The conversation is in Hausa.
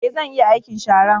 Ee, zan iya aikin sharan